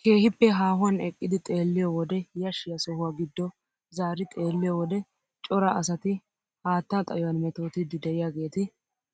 Kehippe haahuwaan eqqidi xeelliyoo wode yashshiyaa sohuwaa giddo zaari xeelliyoo wode cora asati haattaa xayuwaan mettootidi de'iyaageti